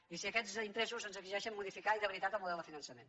i si aquests interessos ens exigeixen modificar i de veritat el model de finançament